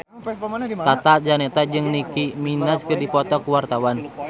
Tata Janeta jeung Nicky Minaj keur dipoto ku wartawan